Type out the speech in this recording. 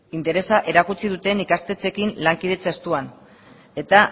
interesa erakutsi duten ikastetxeekin lankidetza estuan eta